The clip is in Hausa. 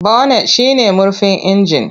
Bonet shi ne murfin inji.